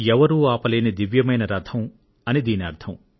ఎవరూ ఆపలేని దివ్యమైన రథం అని ఈ మాటకు అర్థం